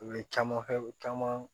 U ye caman kɛ u caman